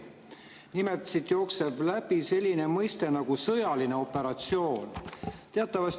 Nimelt jookseb siit läbi selline mõiste nagu "sõjaline operatsioon".